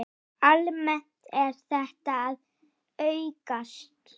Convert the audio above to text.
Almennt er þetta að aukast.